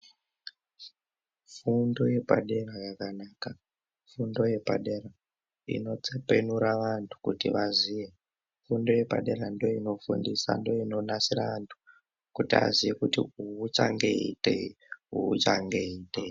Fundo yepadera yakanaka, Fundo yepadera inotsepenura vantu kuti vaziye. Fundo yepadera ndoinofundisa ndoinonasira antu kuti aziye kuti uyu uchange eiitei uyu uchange eiitei.